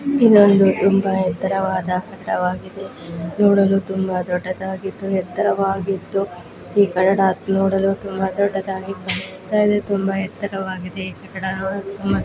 ಇದೊಂದು ತುಂಬಾ ಎತ್ತರವಾದ ಕಟ್ಟಡವಾಗಿದೆ ನೋಡಲು ತುಂಬಾ ದೊಡ್ಡದಾಗಿದ್ದು ಎತ್ತರವಾಗಿದ್ದು. ಏಕದೇ ನೋಡಲು ತುಂಬಾ ದೊಡ್ಡದ್ದಾಗಿದೆ ತುಂಬಾ ಎತ್ತರವಾಗಿದೆ ಆ ಕಡೆ ಮರಗಳು ಇವೆ.